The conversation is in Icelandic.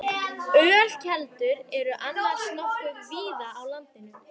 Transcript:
Ölkeldur eru annars nokkuð víða á landinu.